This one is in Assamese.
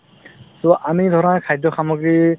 so, আমি ধৰা খাদ্য সামগ্ৰী